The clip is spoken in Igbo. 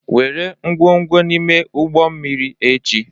Were ngwongwo n'ime ụgbọ mmiri echi